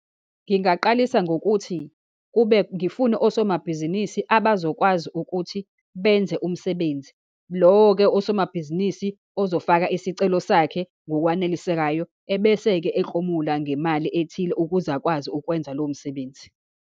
Ngingaqalisa ngokuthi kube, ngifune osomabhizinisi abazokwazi ukuthi benze umsebenzi. Lowo-ke osomabhizinisi ozofaka isicelo sakhe ngokwanelisekayo, ebese-ke eklomula ngemali ethile, ukuze akwazi ukwenza lowo msebenzi.